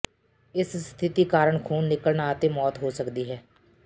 ਇਸ ਸਥਿਤੀ ਕਾਰਨ ਖੂਨ ਨਿਕਲਣਾ ਅਤੇ ਮੌਤ ਹੋ ਸਕਦੀ ਹੈ